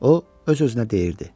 O öz-özünə deyirdi.